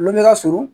Lu bɛ ka suru